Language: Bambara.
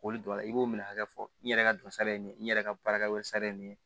K'olu don a la i b'o minɛ hakɛ fɔ n yɛrɛ ka dɔ sara ye nin n yɛrɛ ka baarakɛyɔrɔ sari ye nin ye